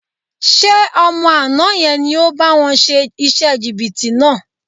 Ṣé ọmọ àná yẹn ni ò bá wọn ṣe iṣẹ́ jìbìtì náà?